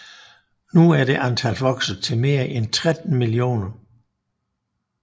Nu er det antal vokset til mere end 13 millioner